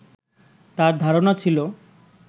তার ধারণা ছিল